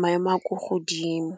maemo a ko godimo.